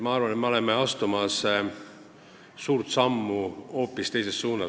Ma arvan, et me oleme astumas suurt sammu hoopis teises suunas.